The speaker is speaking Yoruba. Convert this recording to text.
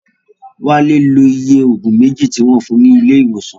Wálé lo iye Ògùn méjì tí wọ́n fun ní ilé ìwòsàn